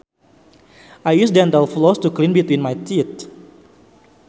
I use dental floss to clean between my teeth